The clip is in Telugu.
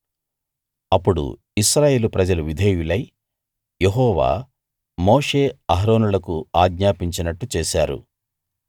అప్పుడు ఇశ్రాయేలు ప్రజలు విధేయులై యెహోవా మోషే అహరోనులకు ఆజ్ఞాపించినట్టు చేశారు